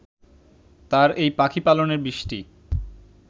তার এই পাখি পালনের বিষটি